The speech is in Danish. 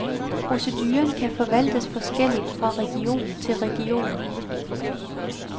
Proceduren kan forvaltes forskelligt fra region til region.